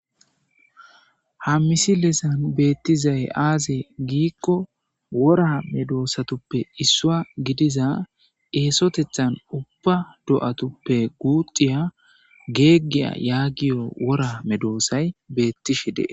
Ha missilezan bethizay azze gikko worra medosatappe isswa gidiza essotethan ubba doathuppe guxiya gegiya yagiyo worra medosay bethishe dees.